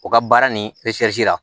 U ka baara nin la